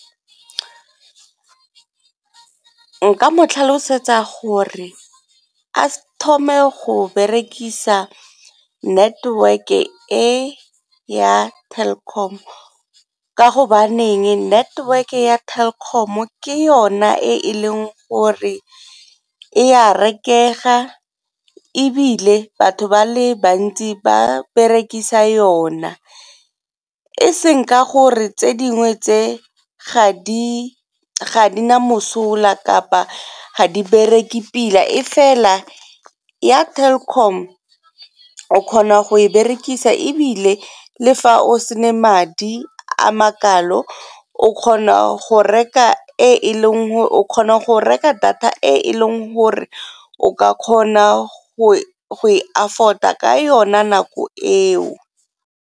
Nka mo tlhalosetsa gore a thome go berekisa network-e e ya Telkom ka gobaneng network-e ya Telkom ke yona e leng gore e a reke tshega ebile batho ba le bantsi ba berekisa yona e seng ka gore tse dingwe ga di na mosola kapa ga di bereke pila e fela ya Telkom kgona go e berekisa ebile le fa o sena madi a makalo o kgona go reka data e e leng gore o ka kgona go e afford-a ka yona nako eo.